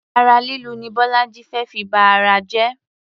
Ara lílu ni bọ́lájí fé fi ba ara jẹ.